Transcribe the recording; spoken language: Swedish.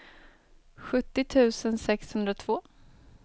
sjuttio tusen sexhundratvå